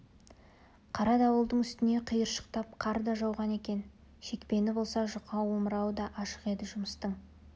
қара дауылдың үстіне қиыршықтап қар да жауған екен шекпені болса жұқа омырауы да ашық еді жұмыстың